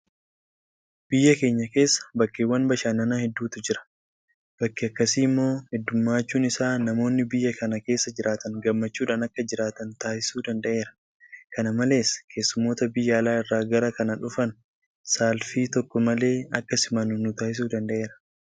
Biyya keenya keessa bakkeewwan bashannannaa hedduutu jira. Bakki akkasii immoo heddummachuun isaa namoonni biyya kana keessa jiraatan gammachuudhaan akka jiraatan taasisuu danda'eera. Kana malees keessummoota biyya alaa irraa gara kana dhufan saalfii tokko malee akka simannu nutaasisuu danda'eera.